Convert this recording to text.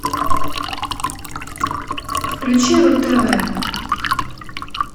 включи ру тв